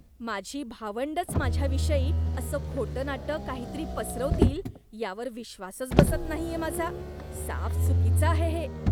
माझी भावंडंच माझ्याविषयी असं खोटंनाटं काहीतरी पसरवतील यावर विश्वासच बसत नाहीये माझा. साफ चुकीचं आहे हे.